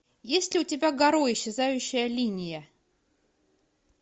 есть ли у тебя гаро исчезающая линия